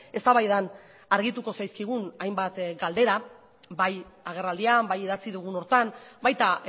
eztabaidan argituko zaizkigun hainbat galdera bai agerraldian bai idatzi dugun horretan baita